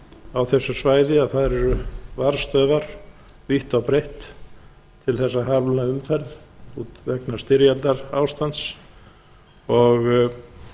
á þessu svæði að þar eru varðstöðvar vítt og breitt til þess að hamla umferð vegna styrjaldarástands og